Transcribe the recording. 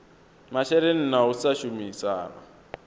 masheleni na u sa shumisana